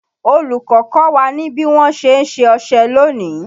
Olùkọ́ kọ́ wa ní bí wọn ṣe ń ṣe ọṣẹ lónìí